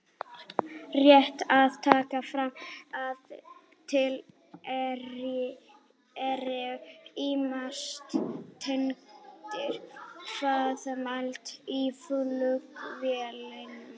Rétt er að taka fram að til eru ýmsar tegundir hraðamæla í flugvélum.